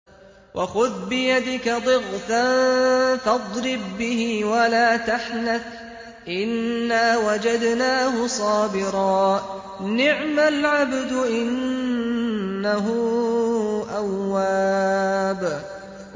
وَخُذْ بِيَدِكَ ضِغْثًا فَاضْرِب بِّهِ وَلَا تَحْنَثْ ۗ إِنَّا وَجَدْنَاهُ صَابِرًا ۚ نِّعْمَ الْعَبْدُ ۖ إِنَّهُ أَوَّابٌ